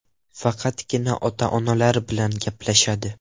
Faqatgina ota-onalari bilan gaplashadi.